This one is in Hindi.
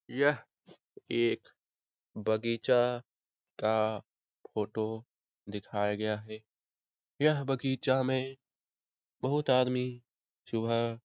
यह एक बगीचा का फोटो दिखाया गया है । यह बगीचा में बहुत आदमी जो है --